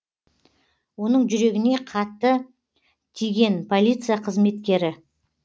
оның жүрегіне қатты тиген полиция қызметкері